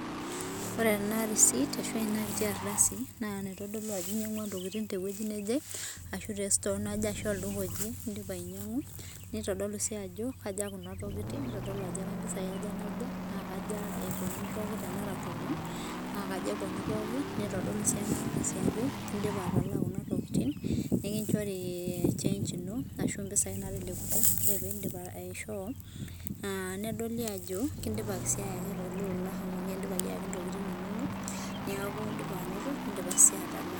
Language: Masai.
Ore ena risit ashu ena kiti ardasi naa enaitodolu Ajo enyiangua entokitin tewueji neje ashua tee store naje ashu olduka oje edipa ainyiang'u nitodolu sii Ajo kaja Kuna tokitin nitodolu Ajo mpisai aja nabo nitodolu Ajo mpisai aja epuonu tenera tomon nitodolu sii ena ardasi Ajo edipa atalaa Kuna tokitin nikinjori change eno ashu mpisai natelekutua ore pee edip aishoo nedoli Ajo kidipaki ayaki ele olaa amu kidipaki ayaki ntokitin enono neeku edipa anoto midipa sii atalaa